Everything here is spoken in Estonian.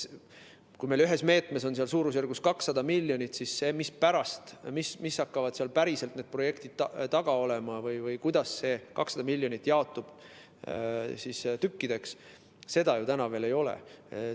Kui meil ühes meetmes on suurusjärgus 200 miljonit, siis seda, mis projektid hakkavad seal taga olema või kuidas see 200 miljonit jaotub, ju veel ei ole.